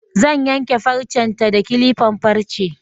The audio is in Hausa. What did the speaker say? Zan yanke farcen ta da kilifan farce